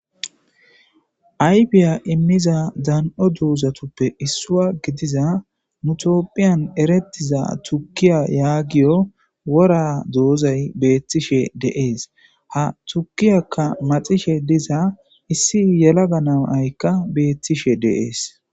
Aybiya immiza dan'o duuzatoppe issua gidiza mutopphiyan eretiza tukiya yaagiyo wora doozay beettishe deees ha tukiyakka maxishe diza issi yelaga naaykka beettishe deees.